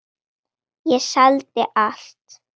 Ég seldi allt.